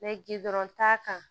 Mɛ gindo ta kan